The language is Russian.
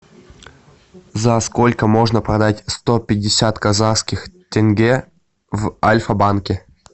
за сколько можно продать сто пятьдесят казахских тенге в альфа банке